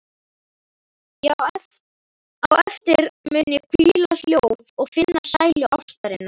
Á eftir mun ég hvíla hljóð og finna sælu ástarinnar.